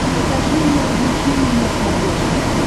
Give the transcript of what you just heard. покажи мир увлечений на смотрешке